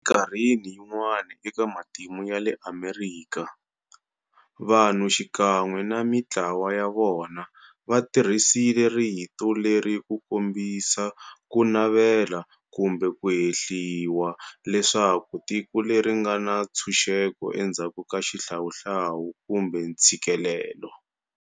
Eminkarhini yin'wana eka matimu ya le Amerika, vanhu xikan'we na mintlawa ya vona va tirhisile rito leri ku kombisa ku navela kumbe ku hehliwa leswaku tiko leri nga na ntshuxeko endzhaku ka xihlawuhlawu kumbe ntshikelelo.